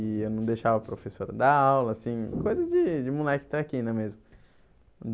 E eu não deixava a professora dar aula, assim, coisa de de moleque traquina mesmo.